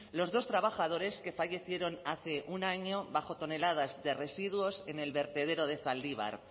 los dos trabajadores que fallecieron hace un año bajo toneladas de residuos en el vertedero de zaldibar